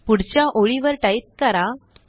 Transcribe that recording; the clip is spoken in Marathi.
पुढच्या ओळीवर टाईप करा